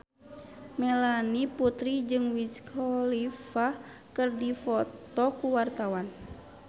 Melanie Putri jeung Wiz Khalifa keur dipoto ku wartawan